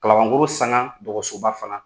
Kalabakoro sanga dɔgɔtɔrɔsoba fana don